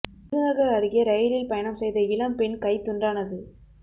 விருதுநகர் அருகே ரயிலில் பயணம் செய்த இளம்பெண் கை துண்டானது